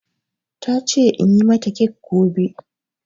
Ta ce in yi mata kek gobe